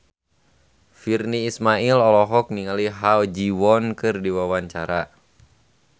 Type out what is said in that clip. Virnie Ismail olohok ningali Ha Ji Won keur diwawancara